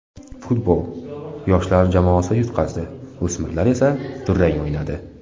Futbol: Yoshlar jamoasi yutqazdi, o‘smirlar esa durang o‘ynadi.